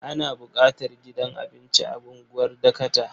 Ana buƙatar gidan abinci a unguwar Dakata.